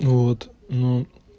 ну вот ну